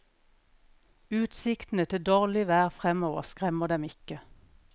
Utsiktene til dårlig vær fremover skremmer dem ikke.